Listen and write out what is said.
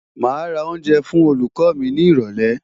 Màá ra oúnjẹ fún olùkọ́ mi ni ìrọ̀lẹ́.